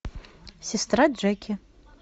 сестра джеки